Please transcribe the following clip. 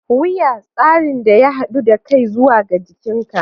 Wuya: Tsarin da ya haɗu da kai zuwa ga jikinka